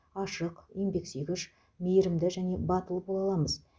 ашық еңбексүйгіш мейірімді және батыл бола аламыз